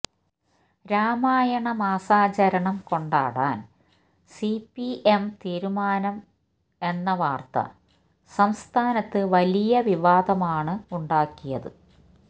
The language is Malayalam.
രാമായണ മാസാചരണം കൊണ്ടാടാന് സിപിഎം തീരുമാനം എന്ന വാര്ത്ത സംസ്ഥാനത്ത് വലിയ വിവാദമാണ് ഉണ്ടാക്കിയത്